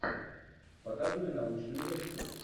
показывай научную лекцию